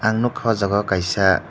nugkha aw jaga o kaisa.